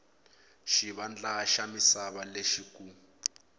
xivandla xa misava lexi ku